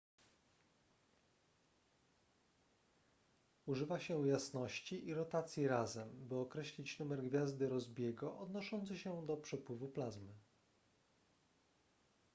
używa się jasności i rotacji razem by określić numer gwiazdy rossby'ego odnoszący się do przepływu plazmy